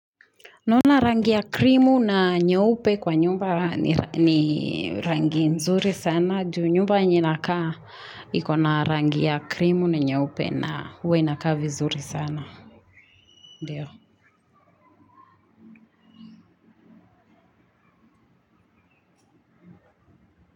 Naona rangi ya krimu na nyeupe kwa nyumba ni rangi nzuri sana. Ju nyumba yenye nakaa ikona rangi ya krimu na nyeupe na uwe inaka vizuri sana. Ndiyo.